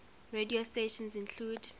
radio stations include